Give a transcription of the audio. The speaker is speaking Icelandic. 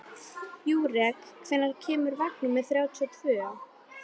Júrek, hvenær kemur vagn númer þrjátíu og tvö?